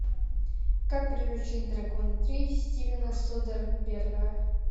как приручить дракона три стивена содерберга